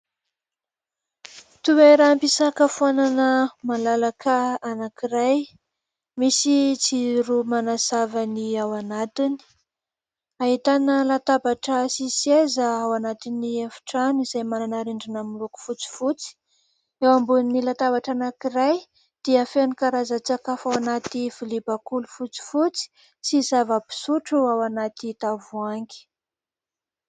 Toeram-pisakafoanana malalaka anankiray, misy jiro manazava ny ao anatiny. Ahitana latabatra sy seza ao anatin'ny efitrano izay manana rindrina miloko fotsifotsy. Eo ambonin'ny latabatra anankiray dia feno karaza-tsakafo ao anaty lovia bakoly fotsifotsy sy zava-pisotro ao anaty tavoahangy.